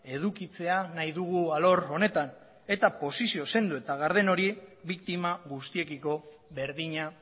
edukitzea nahi dugu alor honetan eta posizio sendo eta garden hori biktima guztiekiko berdina